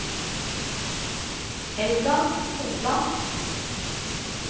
Helga Hopland